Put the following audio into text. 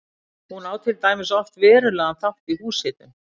Hún á til dæmis oft verulegan þátt í húshitun.